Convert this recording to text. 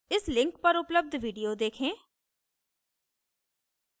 इस लिंक पर उपलब्ध video देखें